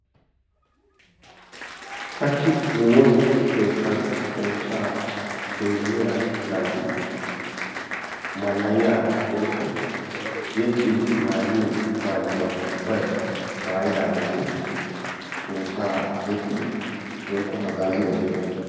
hachchi nu woossa keettan xoosaa goynniya naati malayaa woykko yexiidi maayiyi maayuwa ubaykka maayidaageti xoossaa yexxidi hagaazzi wodhidosona.